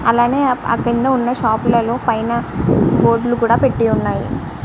అలాగే ఆ కింద పెట్టిన షాప్ లలో మేధా బోర్డు పెట్టి వున్నాయ్.